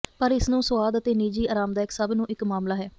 ਪਰ ਇਸ ਨੂੰ ਸੁਆਦ ਅਤੇ ਨਿੱਜੀ ਆਰਾਮਦਾਇਕ ਸਭ ਨੂੰ ਇੱਕ ਮਾਮਲਾ ਹੈ